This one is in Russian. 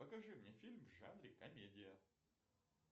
покажи мне фильм в жанре комедия